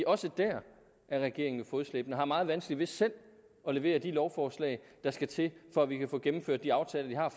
også der er regeringen jo fodslæbende og har meget vanskeligt ved selv at levere de lovforslag der skal til for at vi kan få gennemført de aftaler vi har